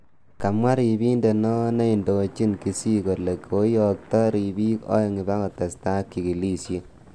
Kimwa ribindet neo neindojin Kisii kole koiyokto ribik aeng ipkotestai ak chikilishet.